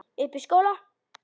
Uppi í skóla.